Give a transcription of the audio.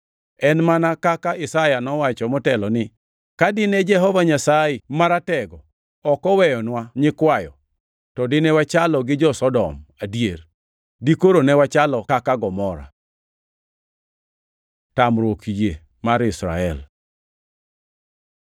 En mana kaka Isaya nowacho motelo ni, “Ka dine Jehova Nyasaye Maratego ok oweyonwa nyikwayo, to dine wachalo gi jo-Sodom, adier, dikoro ne wachalo kaka jo-Gomora.” + 9:29 \+xt Isa 1:9\+xt* Tamruok yie mar Israel